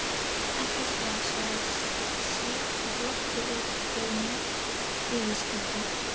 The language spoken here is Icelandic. Ekki svo, svaraði Sveinn og glotti út fyrir mjótt yfirskeggið.